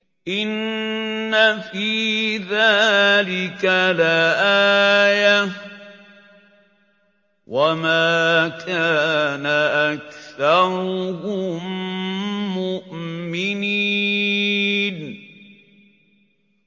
إِنَّ فِي ذَٰلِكَ لَآيَةً ۖ وَمَا كَانَ أَكْثَرُهُم مُّؤْمِنِينَ